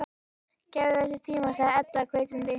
Gefðu þessu tíma, sagði Edda hvetjandi.